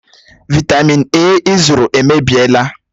Vị́tamị́n A ị zụrụ èmèbịèlà